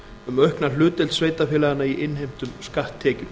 um aukna hlutdeild sveitarfélaganna í innheimtum skatttekjum